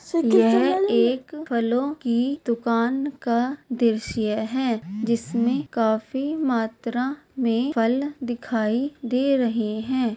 यह एक फलों की दुकान का दृश्य है जिसमें काफी मात्रा मे फल दिखाई दे रहे है।